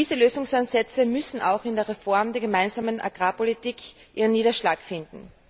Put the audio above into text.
Diese Lösungsansätze müssen auch in der Reform der Gemeinsamen Agrarpolitik ihren Niederschlag finden.